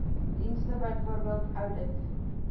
dienste bv oudit